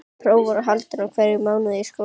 Próf voru haldin í hverjum mánuði í skólanum.